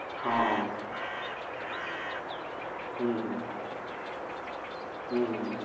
હં હં હમ હમ હમ હમ હમ